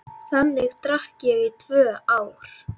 Þannig drakk ég í tvö ár.